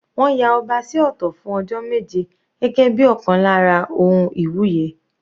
Wọ́n ya ọba sí ọ̀tọ̀ fún ọjọ́ méje gẹ́gẹ́ bíi ọ̀kan lára ohun iwuye.